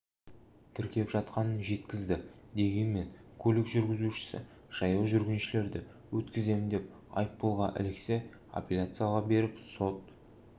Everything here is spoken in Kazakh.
тіркеп жатқанын жеткізді дегенмен көлік жүргізушісі жаяу жүргіншілерді өткіземін деп айыппұлға іліксе аппеляцияға беріп сот